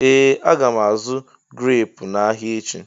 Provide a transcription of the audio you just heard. Ee! Aga m azụ̀ greepu n'ahịa echi.